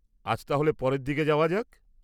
আজ তাহলে পরের দিকে যাওয়া যাক।